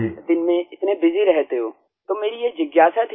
आप दिन में इतने बसी रहते हो तो मेरी ये जिज्ञासा